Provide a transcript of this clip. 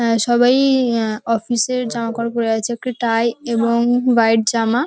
আহ সবাই আহ অফিস -এর জামাকাপড় পরে আছে একটা টাই এবং ওয়াইট জামা।